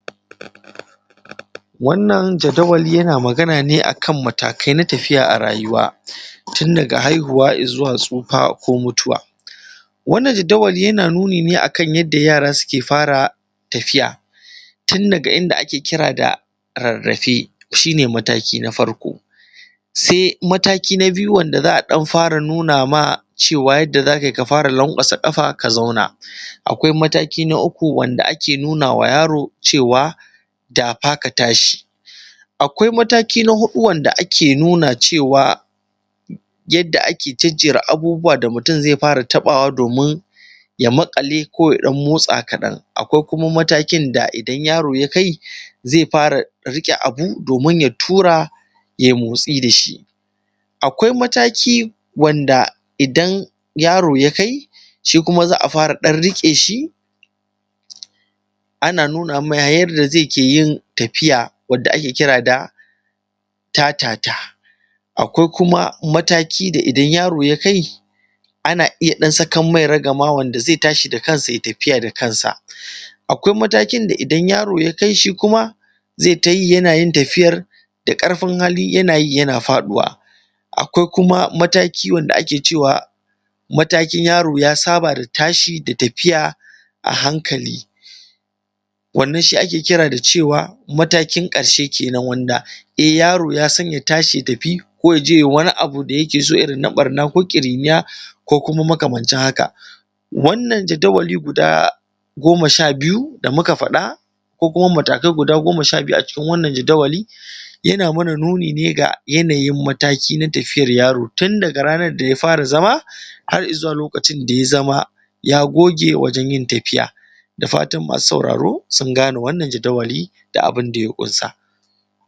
wannan jadawali yana magana ne a kan matakai na tafiya a rayuwa tun daga haihuwa i zuwa tsufa ko mutuwa wannan jadawali yana magana ne a kan yara suke fara tafiya tun daga inda ake kira rarrafe shi ne mataki na farko sai mataki na biyu wanda za a ɗan fara nuna ma cewa yadda za ka yi ka fara lanƙwasa ƙafa ka zauna akwai mataki na uku wanda ake nuna ma yaro cewa dafa ka tashi akwai mataki na huɗu wanda ake nuna cewa yadda ake jejjera abubuwa da mutum zai fara taɓawa domin ya maƙale ko ya ɗan motsa kaɗan xxx akwai kuma matakin da idan yaro ya kai zai fara riƙe abu domin ya tura ya yi motsi da shi akwai mataki wanda idan yaro ya kai shi kuma za a fara ɗan riƙe shi ana nuna mai yadda zai ke yin tafiya wadda ake kira da tatata akwai kuma mataki da idan yaro ya kai ana ɗan iya sakan mai ragama wanda zai tashi da kansa ya yi tafiya da kansa akwai matakin da idan yaro ya kai shi kuma zai yi ta yi yana tafiyar da ƙarfin hali yana yi yana faɗuwa akwai kuma mataki wanda ake cewa matakin yaro ya saba da tashi da tafiya a hankali wannan shi ake kira da cewa matakin ƙarshe kenan wanda e yaro ya san ya tashi ya tafi ko ya je ya yi wani abu irin na ɓarna ko ƙiri:niya ko kuma makamancin haka wannan jadawali guda goma sha biyu da muka faɗa ko kuma matakai goma sha biyu a cikin wannan jadawali yana mana nuni ne ga yanayin mataki na tafiyar yaro tun daga ranar da ya fara zama har i zuwa lokacin da ya zama ya goge wajen yin tafiya da fatan masu sauraro sun gane wannan jadawali da abin da ya ƙunsa